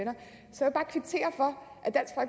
så at der